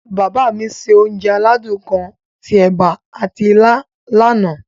Bàbá mi se onje aládún kan ti ẹ̀ba ati ilá lana.